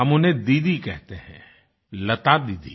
हम उन्हें दीदी कहते हैं लता दीदी